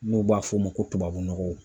N'u b'a f'o ma ko tubabu nɔgɔ